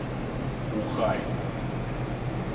ухай